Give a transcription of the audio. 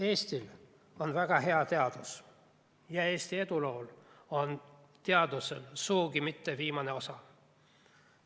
Eestil on väga hea teadus ja Eesti eduloos ei ole teadusel sugugi mitte viimane osa.